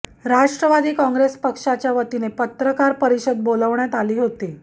राष्ट्रवादी काँग्रेस पक्षाच्या वतीने पत्रकार परिषद बोलवण्यात आली होती